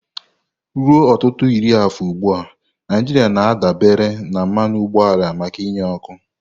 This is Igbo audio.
Ruo ọtụtụ iri afọ ugbu a, Naijiria na-adabere na mmanụ ụgbọala maka inye ọkụ.